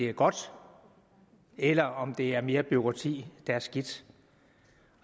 er godt eller om det er mere bureaukrati der er skidt